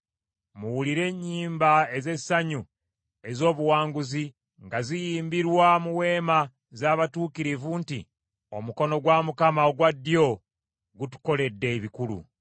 Muwulire ennyimba ez’essanyu ez’obuwanguzi, nga ziyimbirwa mu weema z’abatuukirivu nti, “Omukono gwa Mukama ogwa ddyo gutukoledde ebikulu!